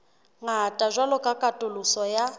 ngata jwalo ka katoloso ya